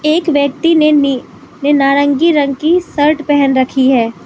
एक व्यक्ति ने नि ने नारंगी रंग की शर्ट पहन रखी है।